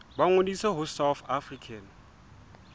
ba ngodise ho south african